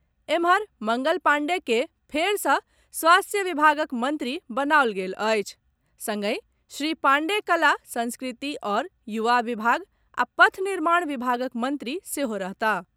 एम्हर, मंगल पांडेय के फेर सँ स्वास्थ्य विभागक मंत्री बनाओल गेल अछि संगहि श्री पांडेय कला, संस्कृति आओर युवा विभाग आ पथ निर्माण विभागक मंत्री सेहो रहताह।